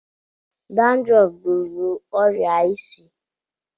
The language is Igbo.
Dandurọf bụbụ ọrịa isi.